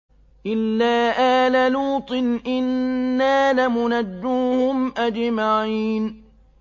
إِلَّا آلَ لُوطٍ إِنَّا لَمُنَجُّوهُمْ أَجْمَعِينَ